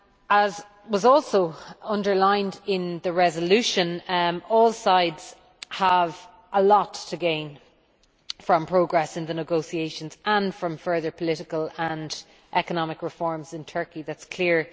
As was also underlined in the resolution, all sides have a lot to gain from progress in the negotiations and from further political and economic reforms in Turkey that is clear.